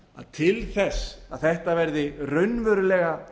til þess að þetta verði raunverulega